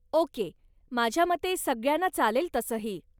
Okay, माझ्यामते सगळ्यांना चालेल तसंही.